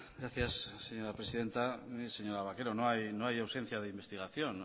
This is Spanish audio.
gracias señora presidenta señora vaquero no hay ausencia de investigación